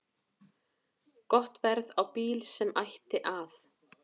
Gott verð á bíl sem ætti að